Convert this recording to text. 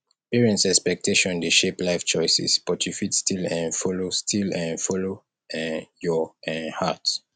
parent expectations dey shape life choices but you fit still um follow still um follow um your um heart